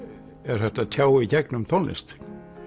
er hægt að tjá í gegnum tónlist